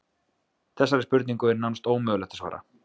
Þessari spurningu er nánast ómögulegt að svara.